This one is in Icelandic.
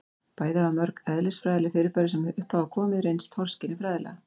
bæði hafa mörg eðlisfræðileg fyrirbæri sem upp hafa komið reynst torskilin fræðilega